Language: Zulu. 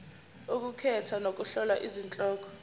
ukukhetha nokuhlola izihloko